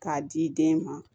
K'a di den ma